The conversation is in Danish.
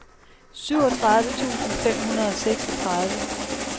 syvogtredive tusind fem hundrede og seksogtredive